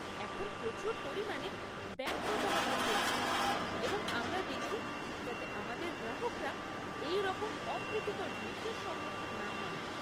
এখন প্রচুর পরিমাণে ব্যাঙ্ক প্রতারণা চলছে এবং আমরা দেখি যাতে আমাদের গ্রাহকরা এই রকম অপ্রীতিকর জিনিসের সম্মুখীন না হন।